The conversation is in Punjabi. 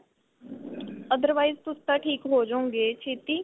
otherwise ਤੁਸੀਂ ਤਾਂ ਠੀਕ ਹੋਜੋਗੇ ਛੇਤੀ